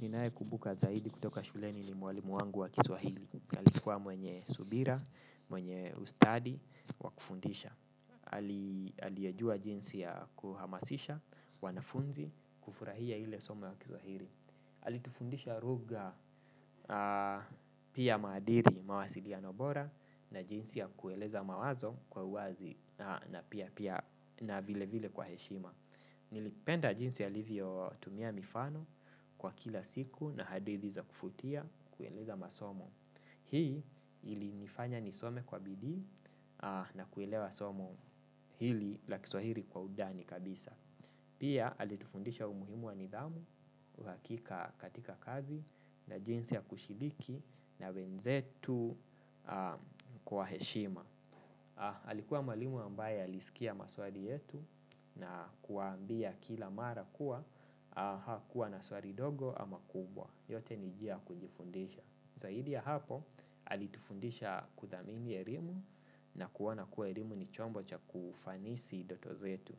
Ninaekubuka zaidi kutoka shuleni ni mwalimu wangu wa kiswahili alikua mwenye subira, mwenye ustadi, wa kufundisha aliyejua jinsi ya kuhamasisha, wanafunzi, kufurahia hile soma wa kiswahili alitufundisha lugha pia madili, mawasiliano bora. Na jinsi ya kueleza mawazo kwa uwazi na pia pia na vile vile kwa heshima. Nilipenda jinsi alvyotumia mifano kwa kila siku na hadithi za kuvutia kueleza masomo. Hii ilinifanya nisome kwa bidii na kuelewa somo hili la kiswahiri kwa undani kabisa. Pia alitufundisha umuhimu wa nidhamu, uhakika katika kazi na jinsi ya kushibiki na wenzetu kwa heshima. Alikuwa mwalimu ambaye alisikia maswali yetu na kuambia kila mara kuwa hakuwa na swali dogo ama kubwa. Yote ni njia ya kujifundisha. Zaidi ya hapo alitufundisha kudhamini elimu na kuona kuwa elimu ni chombo cha kufanisi doto zetu.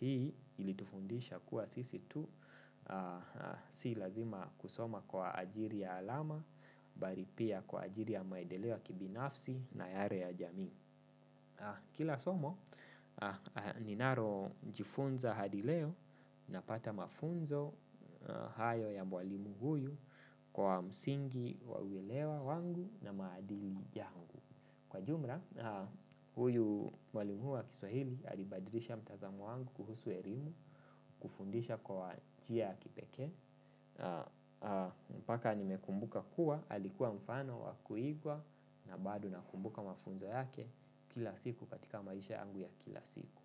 Hii ilitufundisha kuwa sisi tu si lazima kusoma kwa ajili ya alama bali pia kwa ajili ya maedeleo ya kibinafsi na yale ya jami. Kila somo, ninalojifunza hadi leo napata mafunzo hayo ya mwalimu huyu kwa msingi wawilewa wangu na maadili yangu. Kwa jumla, huyu mwalimu wa kiswahili alibadrisha mtazamo wangu kuhusu elimu, kufundisha kwa njia ya kipeke, mpaka nimekumbuka kuwa, alikuwa mfano wa kuigwa na bado nakumbuka mafunzo yake kila siku katika maisha yangu ya kila siku.